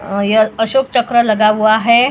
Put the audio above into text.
अ यह अशोक चक्र लगा हुआ है।